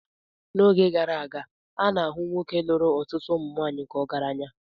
N'oge gara aga, a na-ahụ nwoke lụrụ ọtụtụ nwanyị ka ọgaranya.